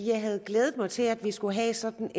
jeg havde glædet mig til at vi skulle have sådan